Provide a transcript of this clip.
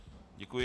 Děkuji.